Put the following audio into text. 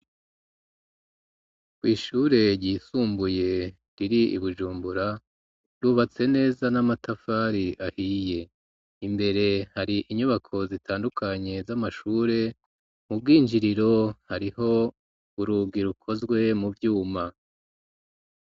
Kw'ishure ryisumbuye riri Ibujumbura ryubatse neza n'amatafari ahiye imbere hari inyubako zitandukanye z'amashure mu bw'injiriro hariho urugi rukozwe mu vyuma